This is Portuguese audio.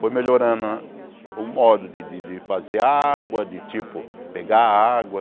Foi melhorando o modo de de fazer água, de tipo pegar água.